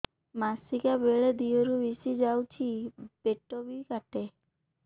ମାସିକା ବେଳେ ଦିହରୁ ବେଶି ଯାଉଛି ପେଟ ବି କାଟେ